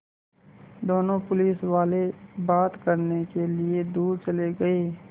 दोनों पुलिसवाले बात करने के लिए दूर चले गए